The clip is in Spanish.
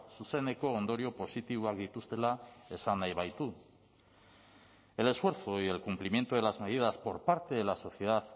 zuzeneko ondorio positiboak dituztela esan nahi baitu el esfuerzo y el cumplimiento de las medidas por parte de la sociedad